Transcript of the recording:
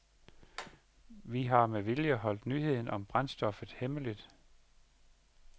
Vi har med vilje holdt nyheden om brændstoffet hemmeligt.